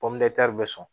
bɛ sɔn